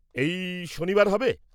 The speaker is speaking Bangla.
-এই শনিবার হবে?